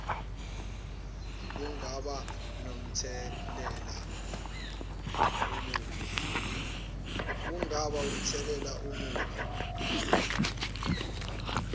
kungaba nomthelela omubi